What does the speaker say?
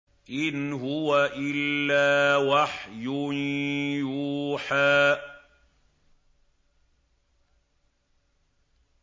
إِنْ هُوَ إِلَّا وَحْيٌ يُوحَىٰ